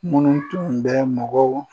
Munnu tun bɛ mɔgɔw